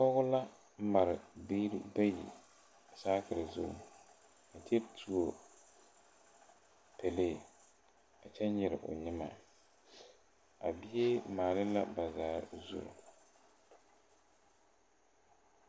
Pɔgɔ la mare biire bayi saakire zu a kyɛ tuo pɛlee a kyɛ nyire o nyimɛ a bie mare la bazaa zu.